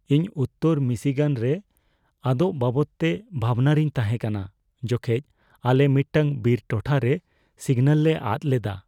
ᱤᱧ ᱩᱛᱛᱚᱨ ᱢᱤᱥᱤᱜᱟᱱ ᱨᱮ ᱟᱫᱚᱜ ᱵᱟᱵᱚᱫᱛᱮ ᱵᱷᱟᱵᱽᱱᱟ ᱨᱮᱧ ᱛᱟᱷᱮᱸ ᱠᱟᱱᱟ ᱡᱚᱠᱷᱮᱡ ᱟᱞᱮ ᱢᱤᱫᱴᱟᱝ ᱵᱤᱨ ᱴᱚᱴᱷᱟ ᱨᱮ ᱥᱤᱜᱱᱟᱞ ᱞᱮ ᱟᱫ ᱞᱮᱫᱟ ᱾